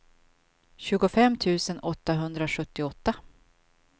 tjugofem tusen åttahundrasjuttioåtta